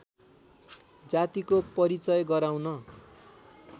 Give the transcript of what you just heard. जातिको परिचय गराउन